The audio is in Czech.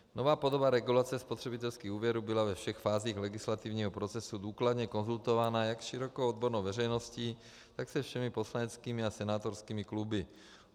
Nová podoba regulace spotřebitelských úvěrů byla ve všech fázích legislativního procesu důkladně konzultována jak s širokou odbornou veřejností, tak se všemi poslaneckými a senátorskými kluby.